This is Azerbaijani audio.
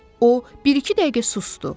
O bir-iki dəqiqə susdu.